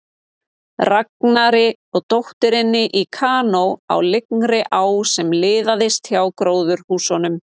Ragnari og dótturinni í kanó á lygnri á sem liðaðist hjá gróðurhúsunum.